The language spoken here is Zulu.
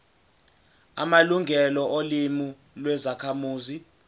amalungelo olimi lwezakhamuzi